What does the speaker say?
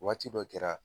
Waati dɔ kɛra